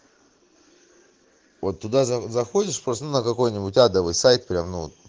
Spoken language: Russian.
вот туда заходишь просто на какой-нибудь адовый сайт прямо ну